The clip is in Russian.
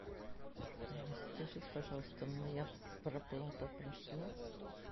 скажите пожалуйста моя проплата прошла